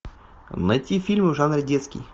найти фильмы в жанре детский